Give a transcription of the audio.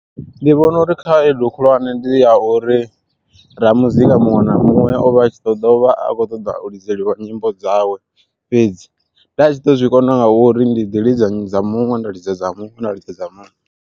Ndi vhona uri khaedu khulwane ndi ya uri ramuzika muṅwe na muṅwe ovha a tshi ḓo dovha a kho ṱoḓa lidzelwa nyimbo dzawe fhedzi, nda tshi ḓo zwi kona vho uri ndi ḓi lidza dza muṅwe nda lidza muṅwe nda idza muṅwe.